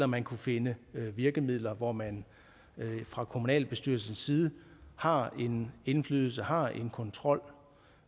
man kunne finde virkemidler hvor man fra kommunalbestyrelsens side har en indflydelse har en kontrol